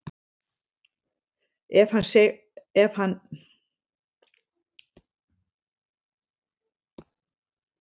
Ef hann segði foreldrum sínum frá þessu bréfi myndu þeir tafarlaust hringja í lögregluna.